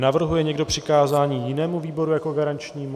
Navrhuje někdo přikázání jinému výboru jako garančnímu?